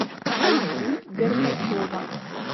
айгуль горбачева